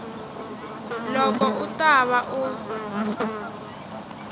loko u ta va u